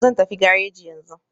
Zan tafi gareji yanzu.